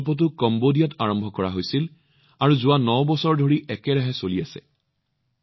এই প্ৰকল্পটো কম্বোডিয়াত আৰম্ভ কৰা হৈছিল আৰু যোৱা ৯ বছৰ ধৰি একেৰাহে চলি আছে